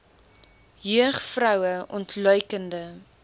jeug vroue ontluikende